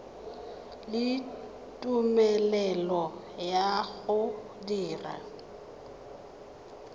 le tumelelo ya go dira